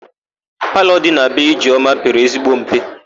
Palọ dị na be Ijeọma pere ezigbo mpe.